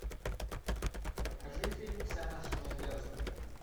покажи фильм вся наша надежда